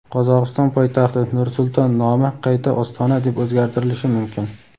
Qozog‘iston poytaxti Nur-Sulton nomi qayta Ostona deb o‘zgartirilishi mumkin.